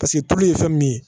Paseke tulu ye fɛn min ye